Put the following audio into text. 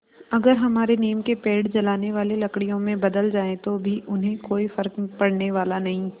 अगर हमारे नीम के पेड़ जलाने वाली लकड़ियों में बदल जाएँ तो भी उन्हें कोई फ़र्क पड़ने वाला नहीं